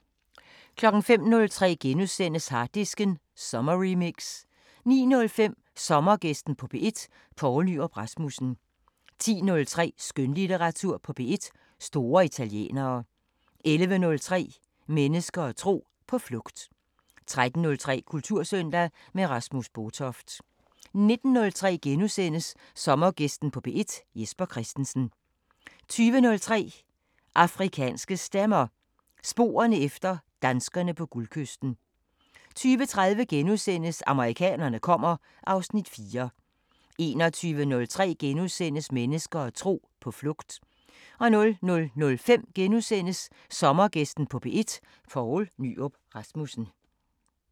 05:03: Harddisken sommerremix * 09:05: Sommergæsten på P1: Poul Nyrup Rasmussen 10:03: Skønlitteratur på P1: Store italienere 11:03: Mennesker og tro: På flugt 13:03: Kultursøndag – med Rasmus Botoft 19:03: Sommergæsten på P1: Jesper Christensen * 20:03: Afrikanske Stemmer: Sporerne efter danskerne på Guldkysten 20:30: Amerikanerne kommer (Afs. 4)* 21:03: Mennesker og tro: På flugt * 00:05: Sommergæsten på P1: Poul Nyrup Rasmussen *